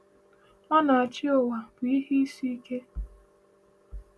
Onye na-achị ụwa bụ ihe isi ike.